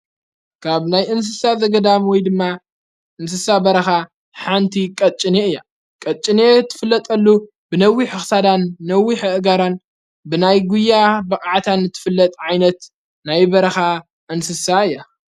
ካብ ናይ እንስሳ ዘገዳም ወይ ድማ እንስሳ በረኻ ሓንቲ ቐጭን እያ ቀጭን እትፍለጠሉ ብነዊሕ ኽሳዳን ነዊ አእጋራን ብናይ ጕያ በቕዓታን እትፍለጥ ዓይነት ናይ በረኻ እንስሳ እያ፡፡